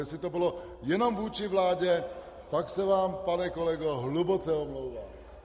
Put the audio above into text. Jestli to bylo jenom vůči vládě , pak se vám, pane kolego, hluboce omlouvám!